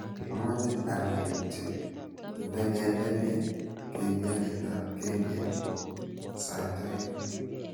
Amache anai kityo ndegendene kengeletab kenget sait aeng